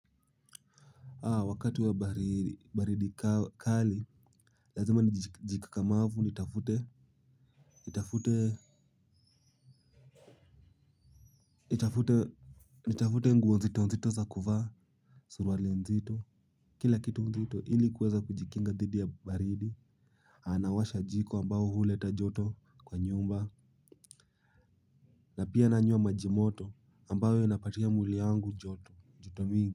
Wakati wa baridi kali lazima nijikakamavu nitafute nitafute, nitafute nguo nzito nzito za kuvaa suruali nzito kila kitu nzito ili kuweza kujikinga dhidi ya baridi anawasha jiko ambao huleta joto kwa nyumba na pia nanywa maji moto ambayo inapatia mwili yangu joto, joto mingi.